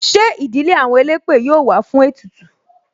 Ṣé ìdílé àwọn elépè yọ wá fún ètùtù?